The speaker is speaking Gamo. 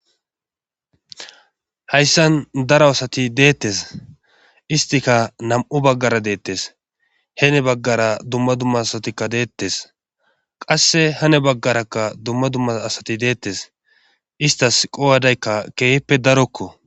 hayssan daro asati deettes istika nam7u baggara deettes hene baggara dumma dumma asatikka deettes qasse hane baggarakka dumma dumma asati deettes istas qowadaykka keehippe darokko